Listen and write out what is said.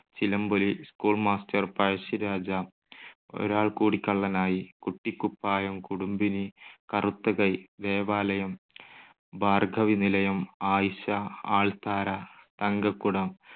Chilamboli, school master, Pazhassiraja, Oralkoodi Kallanayi, Kuttikuppayam, Kudumbini, Karutha Kai, Devalayam, Bhargavi Nilayam, Ayisha, Althara, Thankakudam,